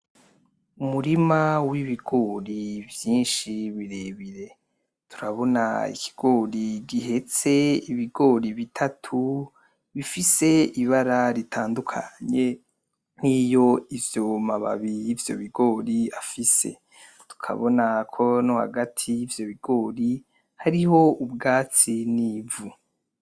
Umurima wibigori vyishi birebire ,urabona ikigori gihetse ibigori bitatu bifise ibara ritandukanye nkiyo ayo mababi yivyo bigori afise Tukabona ko nohagati ivyo bigori hariho ubwatsi nivu